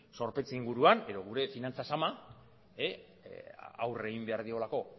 zorpetze inguruan edo gure finantza zama aurre egin behar diolako